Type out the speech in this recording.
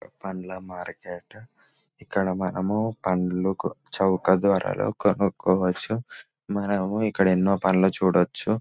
పండ్ల మార్కెట్ ఇక్కడ మనము పండ్లకు చౌక ధరలో కనుక్కోవచ్చు మనము ఇక్కడ ఎన్నో పండ్లు చూడొచ్చు --